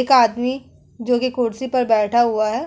एक आदमी जोकि कुर्सी पर बैठा हुआ है।